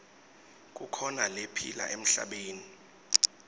kukhona lephila emhlabeni